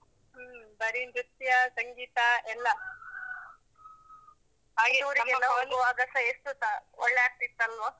ಹ್ಮ್ ಬರೀ ನೃತ್ಯ, ಸಂಗೀತ ಎಲ್ಲಾ ಹೋಗುವಾಗಸಾ. ಎಷ್ಟುಸ ಒಳ್ಳೆ ಆಗ್ತಿತ್ತಲ್ವಾ?